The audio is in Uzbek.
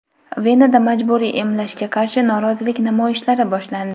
Venada majburiy emlashga qarshi norozilik namoyishlari boshlandi.